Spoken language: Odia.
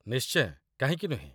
ନିଶ୍ଚୟ, କାହିଁକି ନୁହେଁ